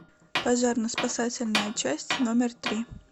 пожарно спасательная часть номер три